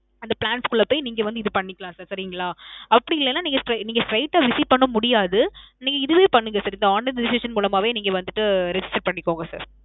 அந்த plans குள்ள போயி நீங்க வந்து இது பண்ணிக்கலாம் sir. சரிங்களா. அப்பிடி இல்லேன்னா நீங்க ~ நீங்க straight அ visit பண்ண முடியாது. நீங்க இதுவே பண்ணுங்க sir. இந்த online registration மூலமாவே நீங்க வந்துட்டு registration பண்ணிக்கோங்க sir.